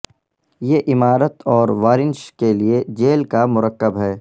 یہ عمارت اور وارنش کے لئے جیل کا مرکب ہے